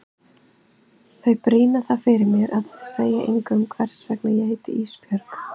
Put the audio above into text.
Þau brýna það fyrir mér að segja engum hvers vegna ég heiti Ísbjörg.